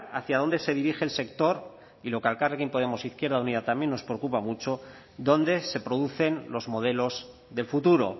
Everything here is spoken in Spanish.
hacia dónde se dirige el sector y lo que a elkarrekin podemos izquierda unida también nos preocupa mucho dónde se producen los modelos del futuro